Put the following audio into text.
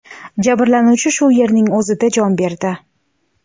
Jabrlanuvchi shu yerning o‘zida jon berdi.